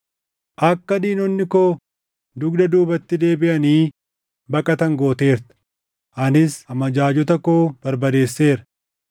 Akka diinonni koo dugda duubatti deebiʼanii baqatan gooteerta; anis amajaajota koo barbadeesseera.